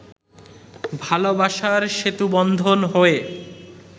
ভালোবাসার সেতুবন্ধন হয়ে